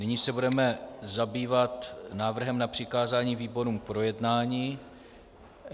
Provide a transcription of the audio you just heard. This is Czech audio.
Nyní se budeme zabývat návrhem na přikázání výborům k projednání.